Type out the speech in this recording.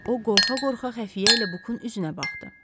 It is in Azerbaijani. O qorxa-qorxa xəfiyyə ilə Bukun üzünə baxdı.